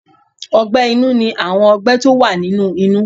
Ọgbẹ́ inú ní àwọn ọgbẹ́ tó wà nínú inú.